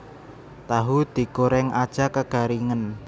Tahu digoreng aja kegaringen